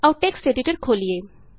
ਆਉ text editor ਖੋਲੀਏ